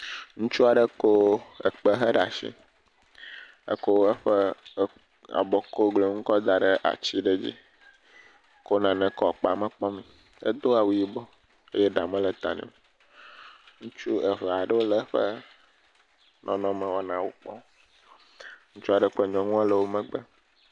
Ŋutsu aɖe ko ekpe he ɖe asi, eko eƒe e abɔ kugluinu kɔ da ɖe ati aɖe dzi eko nane kɔ ekpea me kpɔm. Edo awu yibɔ eye ɖa mele ta nɛ o. Ŋutsu eve aɖewo le eƒe nɔnɔme wɔnawo kpɔm. Ŋutsu aɖe kple nyɔnua le emegbe.